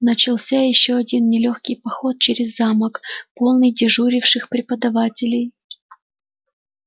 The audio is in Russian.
начался ещё один нелёгкий поход через замок полный дежуривших преподавателей